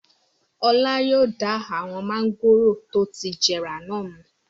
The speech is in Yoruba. Ọlá yóò da awon mángòrò tó ti jẹrà náà nù.